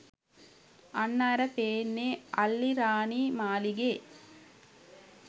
අන්න අර පෙන්නේ අල්ලිරාණි මාලිගේ